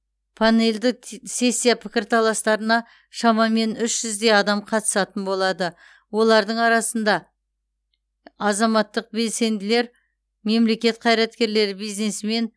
панельді т сессия пікірталастарына шамамен үш жүздей адам қатысатын болады олардың арасында азаматтық белсенділер мемлекет қайраткерлері бизнесмен